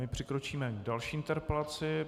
A přikročíme k další interpelaci.